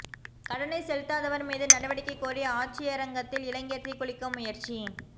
கடனை செலுத்தாதவா் மீது நடவடிக்கை கோரி ஆட்சியரகத்தில் இளைஞா் தீக்குளிக்க முயற்சி